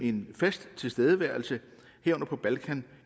en fast tilstedeværelse herunder på balkan